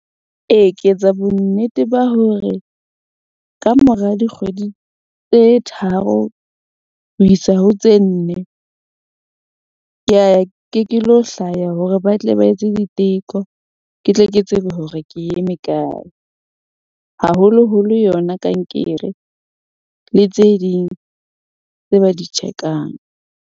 Ee, ke etsa bonnete ba hore ka mora dikgwedi tse tharo ho isa ho tse nne , ka ya ke ke lo hlaya hore ba tle ba etse diteko. Ke tle ke tsebe hore ke eme kae haholoholo yona kankere, le tse ding tse ba di check-ang.